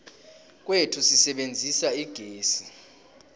kwethu sisebenzisa igezi